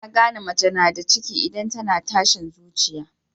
Ana gane mace nada ciki idan tAna tashin zuciya